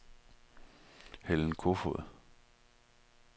Helen Kofoed